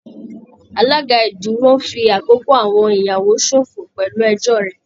Alága ìdúró ń fi àkókò àwọn ìyàwó ṣòfò pẹ̀lú ẹjọ́ rẹ̀